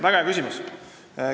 Väga hea küsimus.